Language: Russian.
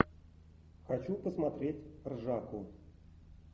хочу посмотреть ржаку